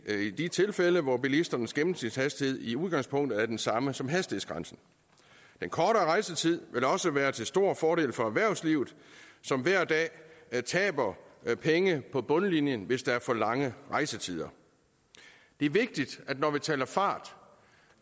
i de tilfælde hvor bilisternes gennemsnitshastighed i udgangspunktet er den samme som hastighedsgrænsen den kortere rejsetid vil også være til stor fordel for erhvervslivet som hver dag taber penge på bundlinjen hvis der er for lange rejsetider det er vigtigt når vi taler fart